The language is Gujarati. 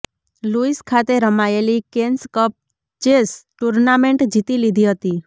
લુઈસ ખાતે રમાયેલી કૈન્સ કપ ચેસ ટુર્નામેન્ટ જીતી લીધી હતી